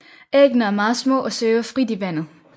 Æggene er meget små og svæver frit i vandet